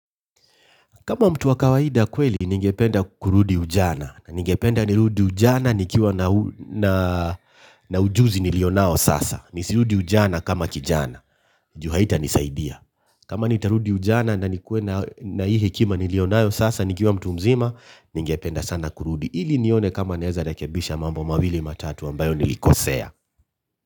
Kama mtu wa kawaida kweli, ningependa kurudi ujana, ningependa nirudi ujana nikiwa na ujuzi nilio nao sasa, nisirudi ujana kama kijana, ju haita nisaidia. Kama nitarudi ujana na nikuwe na hii hekima nilio nayo sasa, nikiwa mtu mzima, ningependa sana kurudi. Ili nione kama naeza rekebisha mambo mawili matatu ambayo nilikosea.